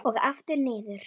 Og aftur niður.